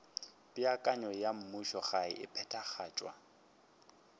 peakanyo ya mmušogae e phethagatšwa